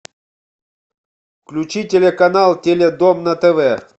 включи телеканал теледом на тв